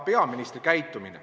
... peaministri käitumine.